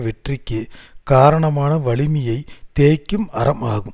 வெற்றிக்கு காரணமான வலிமையைத் தேய்க்கும் அரம் ஆகும்